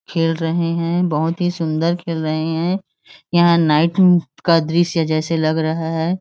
खेल रहे हैं बहुत ही सुन्दर खेल रहे हैं यहाँ नाईट का दृश्य जैसा लग रहा हैं।